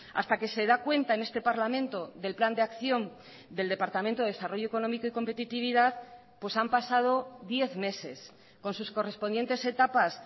hasta que se da cuenta en este parlamento del plan de acción del departamento de desarrollo económico y competitividad pues han pasado diez meses con sus correspondientes etapas